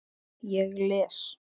Ég les.